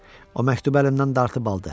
O məktubu əlimdən dartıb aldı.